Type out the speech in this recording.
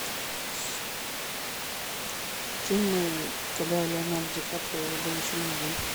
фильмы когда леонардо ди каприо был еще молодым